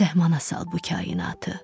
Səhmana sal bu kainatı.